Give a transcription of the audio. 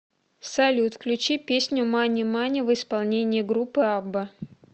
салют включи песню мани мани в исполнении группы абба